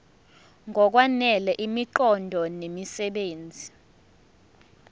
ngokwanele imiqondo nemisebenzi